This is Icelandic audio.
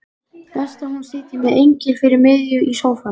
Best að hún sitji með engilinn fyrir miðju í sófanum.